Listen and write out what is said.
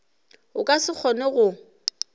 o ka se kgone go